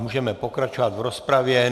Můžeme pokračovat v rozpravě.